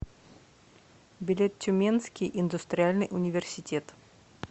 билет тюменский индустриальный университет